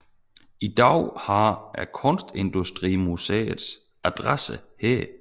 I dag har Kunstindustrimuseet adresse her